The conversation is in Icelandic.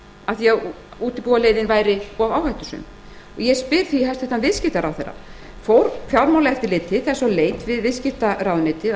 af því að útibúaleiðin væri of áhættusöm ég spyr því hæstvirtur viðskiptaráðherra fór fjármálaeftirlitið þess á leit við viðskiptaráðuneytið að